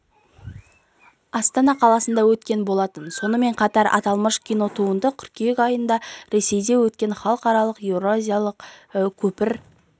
астана қаласында өткен болатын сонымен қатар аталмыш кинотуынды қыркүйек айында ресейде өткен халықаралық еуразиялық көпір